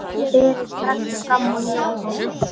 Berið strax fram og njótið!